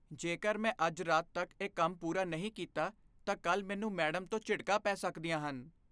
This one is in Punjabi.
ਜੇਕਰ ਮੈਂ ਅੱਜ ਰਾਤ ਤੱਕ ਇਹ ਕੰਮ ਪੂਰਾ ਨਹੀਂ ਕੀਤਾ, ਤਾਂ ਕੱਲ੍ਹ ਮੈਨੂੰ ਮੈਡਮ ਤੋਂ ਝਿੜਕਾਂ ਪੈ ਸਕਦੀਆਂ ਹਨ